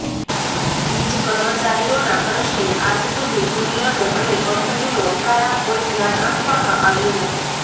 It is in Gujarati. વીજ કર્મચારીઓના પ્રશ્ને આજ સુધી યુનિયનો અને કંપનીઓ દ્વારા કોઈ ધ્યાન આપવામાં આવ્યું નથી